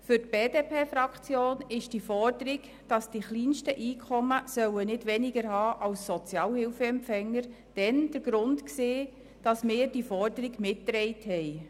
Für die BDP-Fraktion war die Forderung, dass die kleinsten Einkommen nicht kleiner sein sollen als das, was Sozialhilfeempfänger erhalten, damals der Grund, die Forderung mitzutragen.